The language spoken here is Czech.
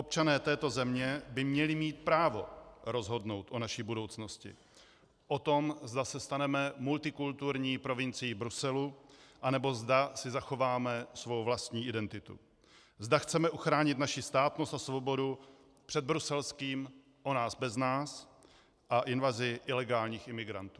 Občané této země by měli mít právo rozhodnout o naší budoucnosti, o tom, zda se staneme multikulturní provincií Bruselu, anebo zda si zachováme svou vlastní identitu, zda chceme ochránit naši státnost a svobodu před bruselským o nás bez nás a invazí ilegálních imigrantů.